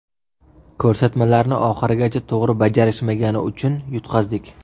Ko‘rsatmalarni oxirigacha to‘g‘ri bajarishmagani uchun yutqazdik.